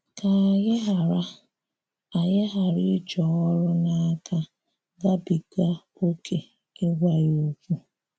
Ka ànyị̀ ghara ànyị̀ ghara ijì ọrụ̀ n’akà gabigà ókè ịgwà ya okwu.